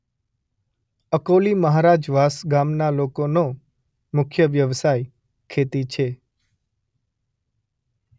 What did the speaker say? અકોલી મહારાજવાસ ગામના લોકોનો મુખ્ય વ્યવસાય ખેતી છે.